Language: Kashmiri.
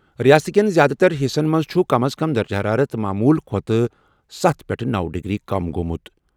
رِیاست کیٚن زیادٕ تر حِصن منٛز چُھ کم از کم درجہٕ حرارت معموٗل کھۄتہٕ سَتھ پیٚٹھٕ نَو ڈِگری کم گوٚمُت۔